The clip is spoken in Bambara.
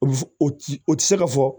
O f o ti o ti se ka fɔ